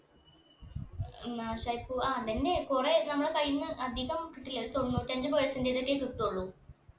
ഉം നാശായ് പോവാ ആ അതഞ്ഞെ കൊറേ നമ്മളെ കൈയീന്ന് അധികം കിട്ടില്ല അത് തൊണ്ണൂറ്റി അഞ്ച്‌ percentage ഒക്കെ കിട്ടുള്ളു